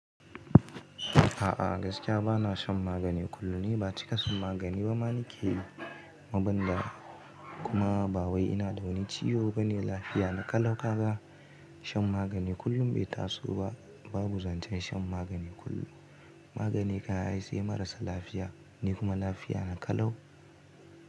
A'a gaskiya bana shan magani kullum ne, ba cika shan magani ba ma nike yi, kuma ba wai ina da wani ciwo ba ne. Lafiya na ƙalau. Haka shan magani kullum bai taso ba. Babu zancen shan magani kullum. Magani kayan ai sai marasa lafiya ne kuma lafiya na ƙalau.